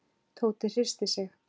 Tóti hristi sig.